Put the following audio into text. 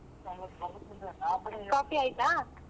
Coffee ಆಯ್ತಾ?